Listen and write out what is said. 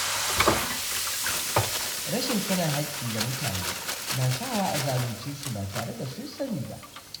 Rashin sanin haƙƙi ga mutane na sawa a zalunce su ba tare da sun sani ba